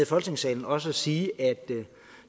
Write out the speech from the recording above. folketingssalen også at sige at